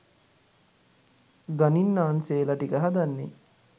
ගණින්නාන්සේලා ටික හදන්නේ